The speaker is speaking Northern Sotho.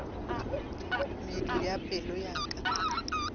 medu ya pelo ya ka